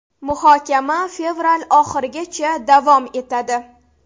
Muhokama fevral oxirigacha davom etadi.